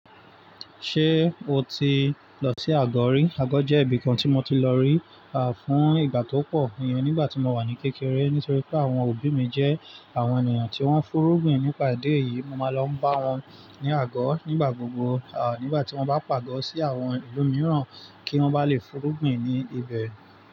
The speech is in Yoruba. Ṣé o ti lọ sí àgọ̀ rí? Àgọ̀ jẹ́ ibìkan tí mo ti lọ rí, fún ìgbà tó pọ̀, ìyẹn nígbà tí mo wà ní kékeré, nítorí pé àwọn òbí mi jẹ́ àwọn ènìyàn tí wọ́n fúnrúgbìn nípa idi eyì. Mo máa ń lọ bá wọn ní àgọ̀ nígbà gbogbo, nígbà tí wọ́n bá pàgọ́ sí àwọn ilumíràn kí wọ́n bá lè fúnrúgbìn ní ibẹ̀